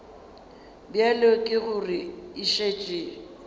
bjale ka gore e šetše